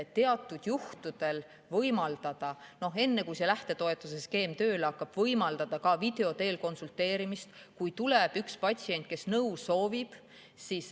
Teatud juhtudel võimaldatakse, enne kui see lähtetoetuseskeem tööle hakkab, ka video teel konsulteerimist, kui tuleb patsient, kes nõu soovib.